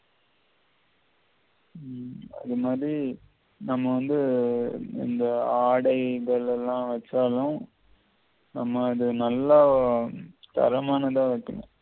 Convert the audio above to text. அதுமாதி நம்ம வந்து இந்த ஆடை இதல்லாம் வெச்சாலும் நம்ம அத நல்லா தரமானதா வெக்கணும்